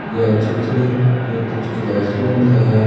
यह चित्र है कुछ क्लास रूम का है।